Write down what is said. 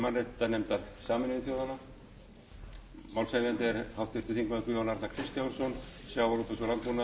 mannréttindanefndar sameinuðu þjóðanna málshefjandi er háttvirtur þingmaður guðjón arnar kristjánsson sjávarútvegs og landbúnaðarráðherra einar kristinn guðfinnsson verður til